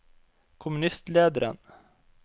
kommunistlederen